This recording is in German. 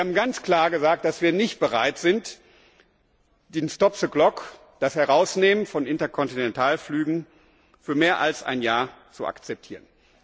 Wir haben ganz klar gesagt, dass wir nicht bereit sind, den Stop the clock das Herausnehmen von Interkontinentalflügen für mehr als ein Jahr zu akzeptieren.